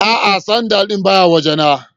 A'a sandal din ba ya waje na.